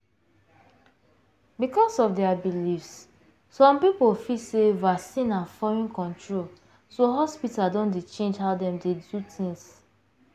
because of their beliefs some people feel sey vaccine na foreign control so hospital don dey change how dem dey do things.